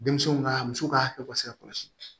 Denmisɛnw ka muso ka hakɛ ka se ka kɔlɔsi